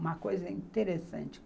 Uma coisa interessante.